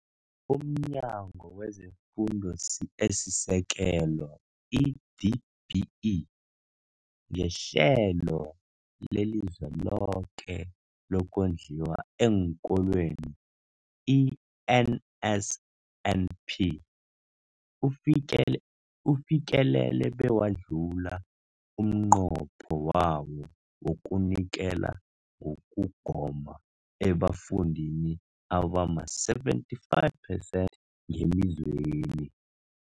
UmNyango wezeFundo esiSekelo, i-DBE, ngeHlelo leliZweloke lokoNdliwa eenKolweni, i-NSNP, ufikele ufikelele bewadlula umnqopho wawo wokunikela ngokugoma ebafundini abama-75 percent ngelizweni.